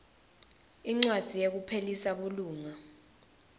incwadzi yekuphelisa bulunga